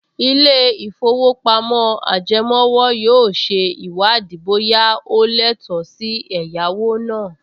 Ilé-ìfowópamọ́ ajẹmówò yóò ṣe ìwádìí bóyá o lẹ́tọ̀ọ́ sí ẹ̀yáwó náà